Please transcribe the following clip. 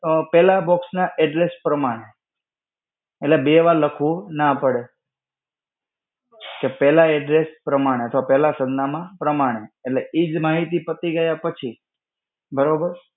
અ, પહેલા box ના address પ્રમાણે. એટલે બે વાર લખવું ના પડે. તો પેહલા address પ્રમાણે, અથવા પેહલા સરનામાં પ્રમાણે. એટલે ઈ જ માહિતી પતિ ગયા પછી, બરોબર.